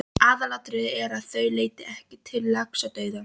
Aðalatriðið er, að þau leiði ekki til laxadauða.